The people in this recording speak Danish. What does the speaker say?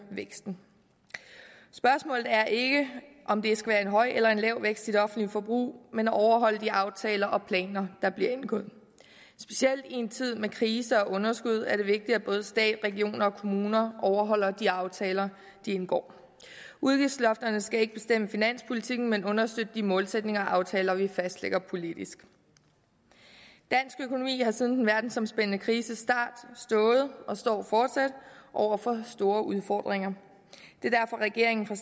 væksten spørgsmålet er ikke om der skal være en høj eller lav vækst i det offentlige forbrug men at overholde de aftaler og planer der bliver indgået specielt i en tid med krise og underskud er det vigtigt at både stat regioner og kommuner overholder de aftaler de indgår udgiftslofterne skal ikke bestemme finanspolitikken men understøtte de målsætninger og aftaler vi fastlægger politisk dansk økonomi har siden den verdensomspændende krises start stået og står fortsat over for store udfordringer det er derfor regeringen fra